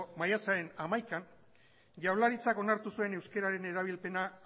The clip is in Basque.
maiatzaren hamaikan jaurlaritzan onartu zuen euskararen erabilpena